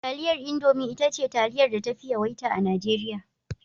Taliyar Indomi ita ce taliyar da tafi yawaita a Najeriya.